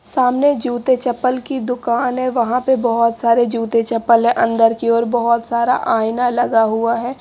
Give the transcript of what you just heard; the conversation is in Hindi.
सामने जूते चप्पल की दुकान है वहां पे बहोत सारे जूते चप्पल है अंदर की ओर बहोत सारा आईना लगा हुआ है।